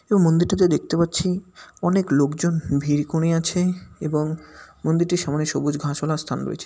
এবং মন্দিরটাতে দেখতে পাচ্ছি অনেক লোকজন ভিড় কোঁরে আছে এবং মন্দিরটি সামনে সবুজ ঘাসওয়ালা স্থান রয়েছে।